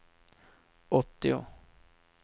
åttio